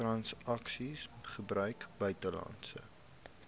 transaksies gebruik buitelandse